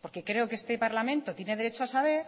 porque creo que este parlamento tiene derecho a saber